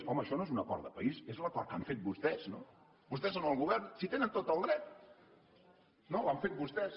home això no és un acord de país és l’acord que han fet vostès no vostès són el govern si hi tenen tot el dret no l’han vostès